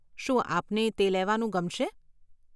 શું આપને તે લેવાનું ગમશે?